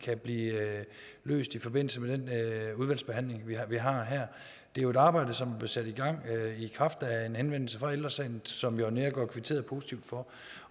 kan blive løst i forbindelse med den udvalgsbehandling vi har vi har her det er jo et arbejde som blev sat i gang i kraft af en henvendelse fra ældre sagen som jørn neergaard larsen kvitterede positivt for